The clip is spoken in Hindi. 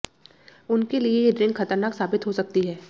उनके लिए ये ड्रिंक खतरनाक साबित हो सकती है